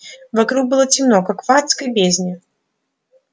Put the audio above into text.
вокруг было темно как в адской бездне